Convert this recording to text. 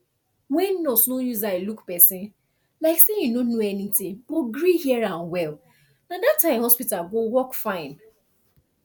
when nurse no use eye look person like say e no know anything but gree hear am well na that time hospital go work fine